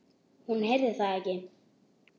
Hún heyrði það ekki.